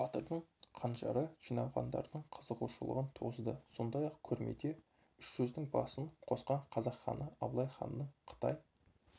батырдың қанжары жиналғандардың қызығушылығын туғызды сондай-ақ көрмеде үш жүздің басын қосқан қазақ ханы абылайханның қытай